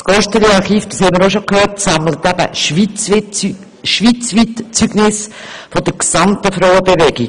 Wie wir bereits gehört haben, sammelt das Gosteli-Archiv schweizweit Zeugnisse der gesamten Frauenbewegung.